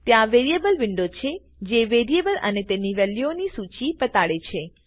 ત્યાં variables window છે જે વેરીએબલ અને તેની વેલ્યુઓ ની સૂચી બતાડે છે